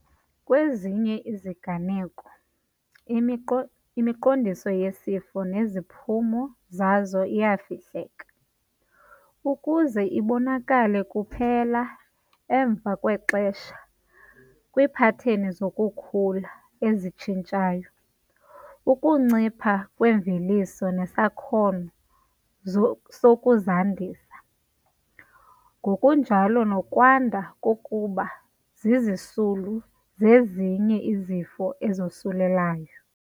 Kwezinye iziganeko, imiqo imiqondiso yesifo neziphumo zaso iyafihleka ukuze ibonakale kuphela emva kwexesha kwiipateni zokukhula ezitshintshayo, ukuncipha kwemveliso nesakhono sokuzandisa, ngokunjalo nokwanda kokuba zizisulu zezinye izifo ezosulelayo.